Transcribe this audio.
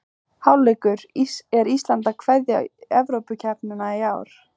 Hálfleikur: Er Ísland að kveðja Evrópukeppnina í ár?